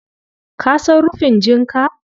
Ka san rufin jinka?